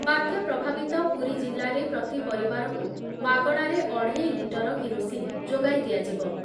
ବାତ୍ୟା ପ୍ରଭାବିତ ପୁରୀ ଜିଲ୍ଲାରେ ପ୍ରତି ପରିବାରକୁ ମାଗଣାରେ ଅଢ଼େଇ ଲିଟର କିରୋସିନ୍ ଯୋଗାଇ ଦିଆଯିବ ।